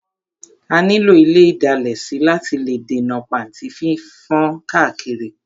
A ní lò ile ìdalẹ̀ sí láti lè dènà pàntí fífán káàkiri.